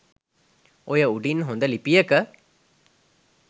ඔය උඩින් හොඳ ලිපියක